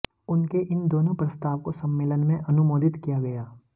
उनके इन दोनों प्रस्ताव को सम्मेलन में अनुमोदित किया गया